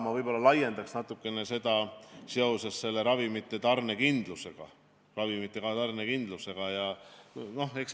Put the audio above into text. Ma võib-olla laiendan natuke seda teemat ravimite tarnekindluse teemaga.